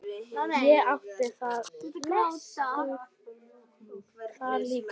Og átti þar líka kindur.